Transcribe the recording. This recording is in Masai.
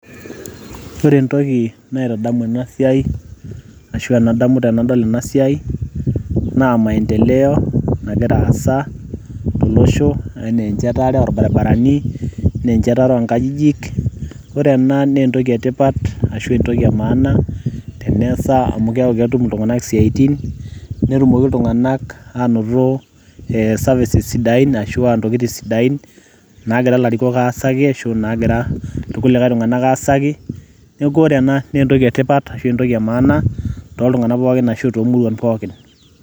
Ore entoki naitadamu enasiai, ashua enadamu tenadol enasiai, naa maendeleo nagira aasa tolosho enaa enchetare orbarabarani, ene enchetare onkajijik, ore ena naa entoki etipat ashu entitled emaana, teneesa amu keeku ketum iltung'anak isiaitin, netumoki iltung'anak anoto e services sidain ashua ntokiting sidain, nagira larikok aasaki ashu nagira ilkulikae tung'anak aasaki, neeku ore ena naa entoki etipat ashu entoki emaana, toltung'anak pookin ashu tomuruan pookin.